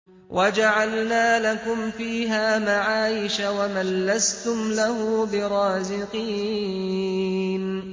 وَجَعَلْنَا لَكُمْ فِيهَا مَعَايِشَ وَمَن لَّسْتُمْ لَهُ بِرَازِقِينَ